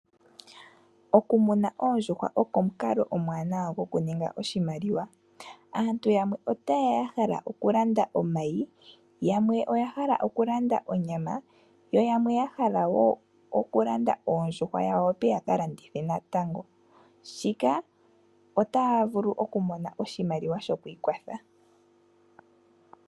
Okumuna Oondjuhwa oko omukalo omwanawa go kuninga oshimaliwa aantu yamwe otayeya yahala okulanda omayi yamwe oya hala okulanda onyama yo yamwe yahala wo okulanda Oondjhuhwa yawo yakalandithe natango , shika otavulu okumona oshimaliwa shokwiikwatha.